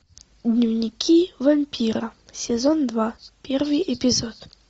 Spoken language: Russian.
дневники вампира сезон два первый эпизод